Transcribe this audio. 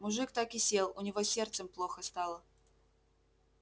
мужик так и сел у него с сердцем плохо стало